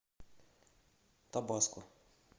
табаско